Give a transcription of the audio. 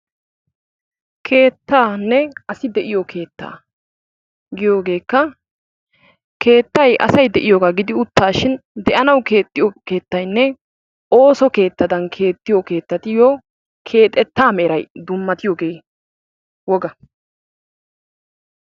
keettaanne asi de'iyoo keettagiyoogeekka keettay asi de'iyoo keettaa gidi utaashshin de'anawu keexxiyoo kettaynne ooso kettatuyoo keexetta meray dumma.